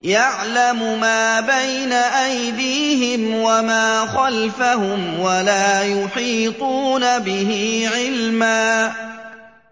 يَعْلَمُ مَا بَيْنَ أَيْدِيهِمْ وَمَا خَلْفَهُمْ وَلَا يُحِيطُونَ بِهِ عِلْمًا